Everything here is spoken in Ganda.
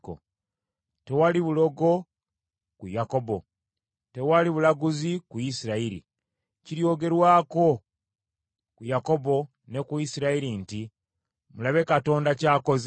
Tewali bulogo ku Yakobo, tewali bulaguzi ku Isirayiri. Kiryogerwako ku Yakobo ne ku Isirayiri nti, ‘Mulabe Katonda ky’akoze!’